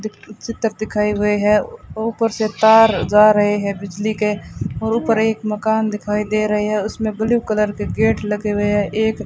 चित्र दिखाए हुए हैं ऊपर से तार जा रहे हैं बिजली के और ऊपर एक मकान दिखाई दे रहे हैं उसमें ब्लू कलर के गेट लगे हुए हैं एक --